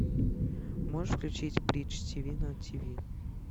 можешь включить бридж тиви на тиви